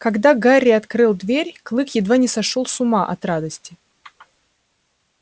когда гарри открыл дверь клык едва не сошёл с ума от радости